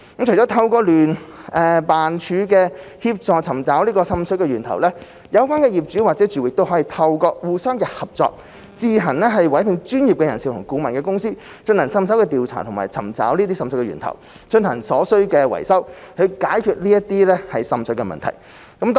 除了透過聯辦處的協助尋找滲水源頭，有關業主或住戶可以透過互相合作，自行委聘專業人士/顧問公司進行滲水調查及尋找滲水源頭，並進行所需的維修，以解決滲水問題。